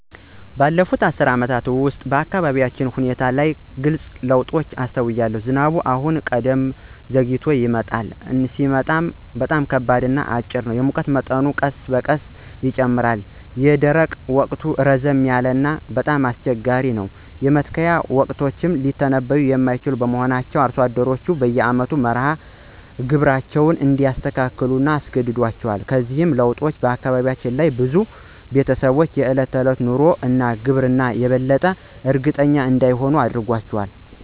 ባለፉት አስርት ዓመታት ውስጥ፣ በአካባቢው የአየር ሁኔታ ላይ ግልጽ ለውጦችን አስተውያለሁ። ዝናቡ አሁን ከቀድሞው ዘግይቶ ይመጣል፣ እና ሲመጣ ደግሞ በጣም ከባድ ነው ወይም በጣም አጭር ነው ለመመካት። የሙቀት መጠኑ ቀስ በቀስ ጨምሯል, ይህም የደረቁ ወቅት ረዘም ያለ እና ከባድ እንዲሆን አድርጎታል. የመትከያ ወቅቶችም ሊተነብዩ የማይችሉ በመሆናቸው አርሶ አደሮች በየአመቱ መርሃ ግብራቸውን እንዲያስተካክሉ አስገድዷቸዋል. እነዚህ ለውጦች በአካባቢው ላሉ ብዙ ቤተሰቦች የዕለት ተዕለት ኑሮ እና ግብርና የበለጠ እርግጠኛ እንዳይሆኑ አድርጓቸዋል።